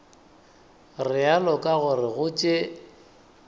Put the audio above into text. realo ka gore go tše